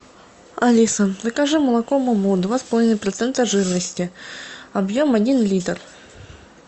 алиса закажи молоко муму два с половиной процента жирности объем один литр